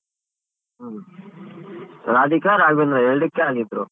ರಾಧಿಕಾ ರಾಘ್ವೇಂದ್ರ ಎರ್ಡಕ್ಕೆ ಹಾಕಿದ್ರು.